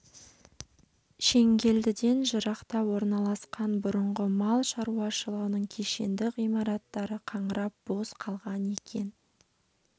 шеңгелдіден жырақта орналасқан бұрынғы мал шаруашылығының кешенді ғимараттары қаңырап бос қалған екен